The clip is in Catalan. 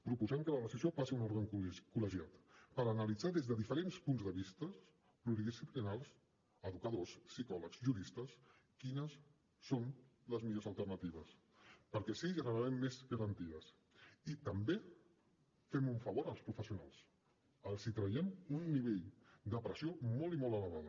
proposem que la decisió passi a un òrgan col·legiat per analitzar des de diferents punts de vista pluridisciplinaris educadors psicòlegs juristes quines són les millors alternatives perquè així generarem més garanties i també farem un favor als professionals els traurem un nivell de pressió molt i molt elevat